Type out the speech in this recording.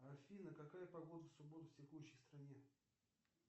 афина какая погода в субботу в текущей стране